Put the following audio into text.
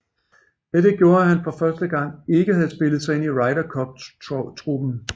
Dette gjorde at han for første gang ikke havde spillet sig ind i Ryder Cup truppen